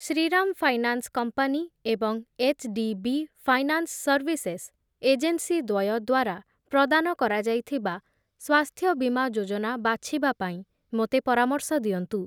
Shriram finance company ଏବଂ HDB finance services agency ଦ୍ୱୟ ଦ୍ଵାରା ପ୍ରଦାନ କରାଯାଇଥିବା ସ୍ୱାସ୍ଥ୍ୟ ବୀମା ଯୋଜନା ବାଛିବା ପାଇଁ ମୋତେ ପରାମର୍ଶ ଦିଅନ୍ତୁ ।